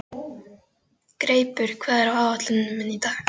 Greipur, hvað er á áætluninni minni í dag?